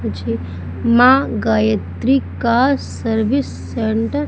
मुझे मां गायत्री का सर्विस सेंटर --